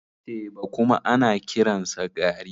Teba kuma ana kiransa garri